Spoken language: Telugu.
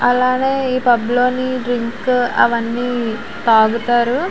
అలానే ఈ పబ్ లోనే డ్రింక్ అవన్నీ తాగుతారు.